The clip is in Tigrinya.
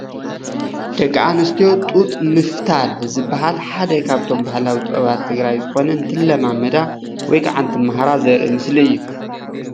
ደቂ ኣነስትዮ ጡጥ ምፍታል ዝባሃል ሓደ ካብቶም ባህላዊ ጥበባት ትግራይ ዝኮነ እንትለማመዳ ወይ ካዓ እንትማሃራ ዘርኢ ምስሊ እዩ፡፡